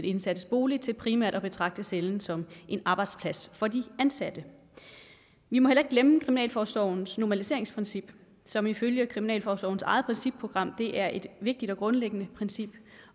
indsattes bolig til primært at betragte cellen som en arbejdsplads for de ansatte vi må heller ikke glemme kriminalforsorgens normaliseringsprincip som ifølge kriminalforsorgens eget principprogram er et vigtigt og grundlæggende princip